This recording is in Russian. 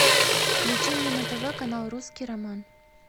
включи мне на тв канал русский роман